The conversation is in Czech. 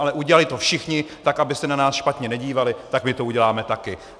Ale udělali to všichni, tak aby se na nás špatně nedívali, tak my to uděláme taky.